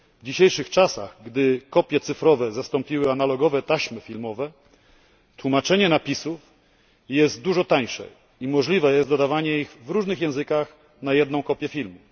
W dzisiejszych czasach, gdy kopie cyfrowe zastąpiły analogowe taśmy filmowe, tłumaczenie napisów jest dużo tańsze i możliwe jest dodawanie ich w różnych językach na jedną kopię filmu.